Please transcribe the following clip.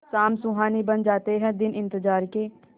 शाम सुहानी बन जाते हैं दिन इंतजार के